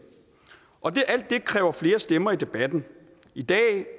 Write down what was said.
kræver flere stemmer i debatten i dag